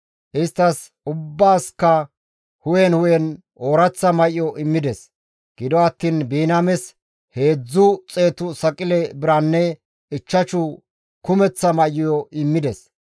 Isttas ubbaasikka hu7en hu7en ooraththa may7o immides; gido attiin Biniyaames heedzdzu xeetu saqile biranne ichchashu kumeththa may7o immides.